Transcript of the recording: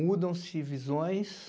Mudam-se visões,